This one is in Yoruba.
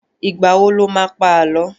Ìgbà wo lo má pá Àlọ́?